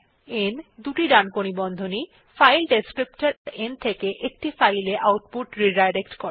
n দুটি ডানকোণী বন্ধনী ও ফাইল বর্ণনাকারী n থেকে একটি ফাইল এ আউটপুট পুননির্দেশনা করে